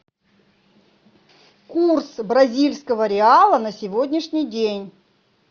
курс бразильского реала на сегодняшний день